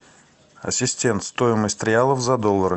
ассистент стоимость реалов за доллары